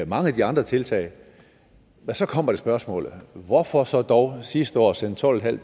mange af de andre tiltag men så kommer spørgsmålet hvorfor så dog sidste år sende tolvtusinde